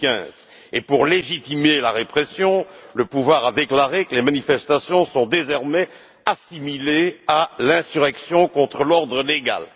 2015. En outre, pour légitimer la répression, le pouvoir a déclaré que les manifestations étaient désormais assimilées à l'insurrection contre l'ordre légal.